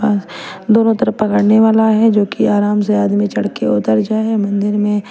दोनों तरफ पकड़ने वाला है जोकि आराम से आदमी चढ़ के उतर जाए मंदिर में--